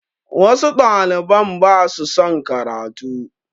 Wasu ɗaliban ba su son karatu